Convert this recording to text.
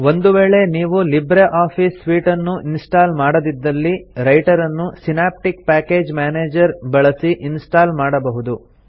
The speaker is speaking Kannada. ಒಂದು ವೇಳೆ ನೀವು ಲಿಬ್ರೆ ಆಫೀಸ್ ಸೂಟ್ ಅನ್ನು ಇನ್ಸ್ಟಾಲ್ ಮಾಡದಿದ್ದಲ್ಲಿ ರೈಟರನ್ನು ಸಿನಾಪ್ಟಿಕ್ ಪ್ಯಾಕೇಜ್ ಮ್ಯಾನೇಜರ್ ಬಳಸಿ ಇನ್ಸ್ಟಾಲ್ ಮಾಡಬಹುದು